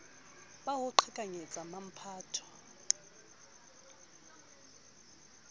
ba ho qhekanyetsa wa mphato